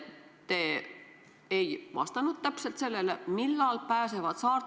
No seda vastust ei ole täna ju kellelgi, kui pikalt see viirusepuhang on.